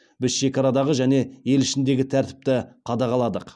біз шекарадағы және ел ішіндегі тәртіпті қадағаладық